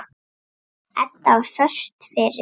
Edda var föst fyrir.